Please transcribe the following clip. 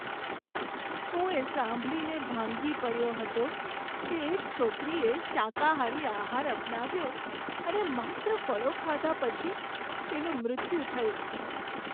હું એ સાંભળીને ભાંગી પડ્યો હતો કે એક છોકરીએ શાકાહારી આહાર અપનાવ્યો અને માત્ર ફળો ખાધા પછી તેનું મૃત્યુ થયું.